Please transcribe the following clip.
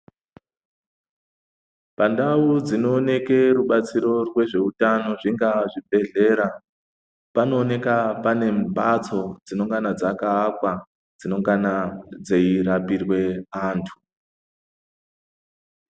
Pandau dzinooneke rubatsiro rwezveutano zvingaa zvibhedhlera panooneka pane mbatso dzinongana dzakaakwa dzinongana dzeirapirwe antu.